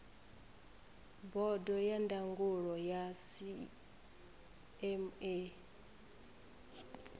bodo ya ndangulo ya cma